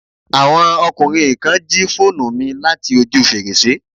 Àwọn ọkùnrin kan jí phonu mi láti ojú fèrèsé